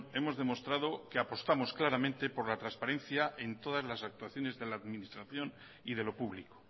hemos demostrado que apostamos claramente por la transparencia en todas las actuaciones de la administración y de lo público